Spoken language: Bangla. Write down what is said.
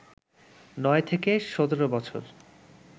৯ থেকে ১৭ বছর